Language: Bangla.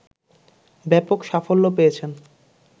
ব্যাপক সাফল্য পেয়েছেন